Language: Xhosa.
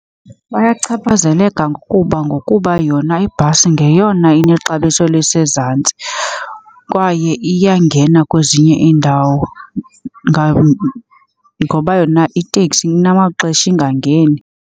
Bayachaphazeleka ngokuba ngokuba yona ibhasi ngeyona inexabiso elisezantsi kwaye iyangena kwezinye iindawo ngoba yona iteksi inamaxesha ingangeni.